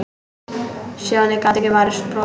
Stjáni gat ekki varist brosi.